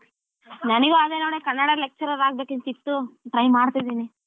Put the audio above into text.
ನನಿಗೂ ಅದೇ ನೋಡೇ ಕನ್ನಡ lecturer ಆಗ್ಬೇಕ್ ಅಂತ ಇತ್ತು try ಮಾಡ್ತಿದೀನಿ.